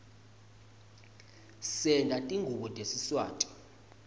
senta tingubo tesiswati